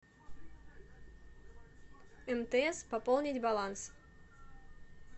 мтс пополнить баланс